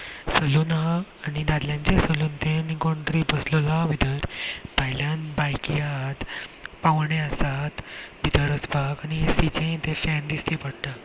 सलुन आहा आनी दाद्ल्यांचे सलुन ते आनी कोण तरी बसलेलो आहा भीतर भायल्यान बायकि आहात पावणे आसात भितर वचपाक आनी ए_सी चे ते फेन दिश्टी पडटा.